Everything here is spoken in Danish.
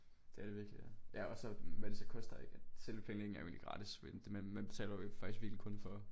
Det er det virkelig ja. Ja og så hvad det så koster ikke at selve pengene er jo egentlig gratis men det man betaler jo ikke faktisk kun for